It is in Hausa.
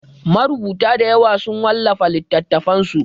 Marubuta dayawa sun wallafa littatafansu.